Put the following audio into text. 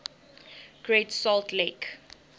great salt lake